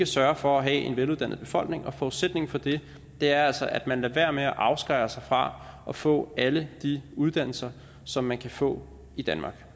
sørger for at have en veluddannet befolkning og forudsætningen for det er altså at man lader være med at afskære sig fra at få alle de uddannelser som man kan få i danmark